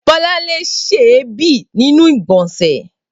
Bolanle n se èébì ninu igbonse.